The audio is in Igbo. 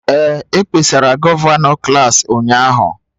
Ee, e kpesara gọvanọ klas ụnyahụ.